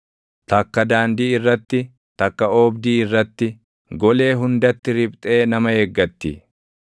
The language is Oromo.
takka daandii irratti, takka oobdii irratti, golee hundatti riphxee nama eeggatti.